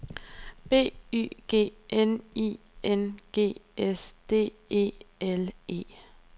B Y G N I N G S D E L E